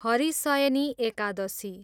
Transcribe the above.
Harishayani Ekadashi